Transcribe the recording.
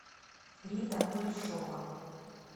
рита кулешова